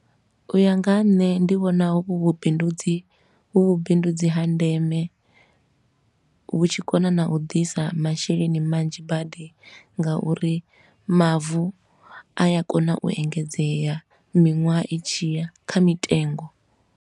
U ya nga ha nṋe ndi vhona uvhu vhu vhubindudzi, vhu vhubindudzi ha ndeme, vhu tshi kona na u ḓisa masheleni manzhi badi nga uri mavu a ya kona u engedzea miṅwaha i tshiya kha mitengo.